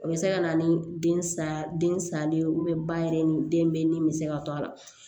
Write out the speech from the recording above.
O bɛ se ka na ni den salen salen ye ba yɛrɛ ni den bɛ ni bɛ se ka to a la